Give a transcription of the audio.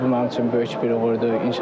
Amma ki, bu mənim üçün böyük bir uğurdur.